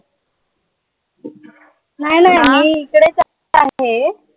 नाई नाई मी इकडे